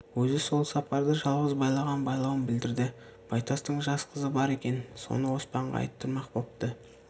өзі сол сапарда жалғыз байлаған байлауын білдірді байтастың жас қызы бар екен соны оспанға айттырмақ бопты